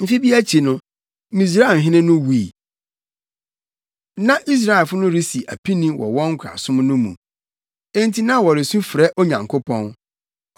Mfe bi akyi no, Misraimhene no wui. Na Israelfo no resi apini wɔ wɔn nkoasom no mu. Enti na wɔresu frɛ Onyankopɔn.